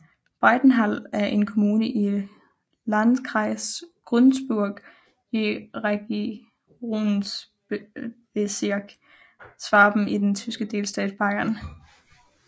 Breitenthal er en kommune i Landkreis Günzburg i Regierungsbezirk Schwaben i den tyske delstat Bayern